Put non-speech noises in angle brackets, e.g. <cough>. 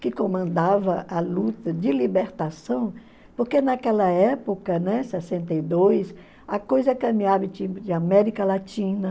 que comandava a luta de libertação, porque naquela época, né, sessenta e dois, a coisa caminhava <unintelligible> América Latina.